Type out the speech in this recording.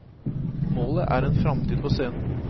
Målet er en framtid på scenen.